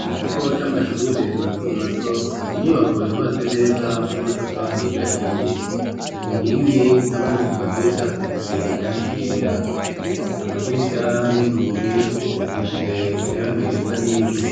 mu kigo c'amashure mato mato inyubako yubatse neza n'amatafari ahiye, ku nkingi hamwe no ku madirisha hasize irangi ryera, amadirisha n'inzugi zisize irangi risa n'ivu,